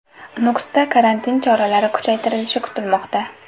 Nukusda karantin choralari kuchaytirilishi kutilmoqda.